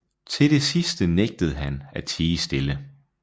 Til det sidste nægtede han at tie stille